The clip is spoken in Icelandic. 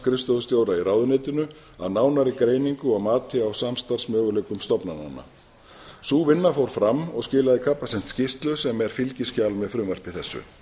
í ráðuneytinu að nánari greiningu og mati á samstarfsmöguleikum stofnananna sú vinna fór fram og skilaði capacent skýrslu sem er fylgiskjal með frumvarpi þessu